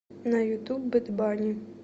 на ютуб бэд банни